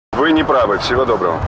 вы не правы всего доброго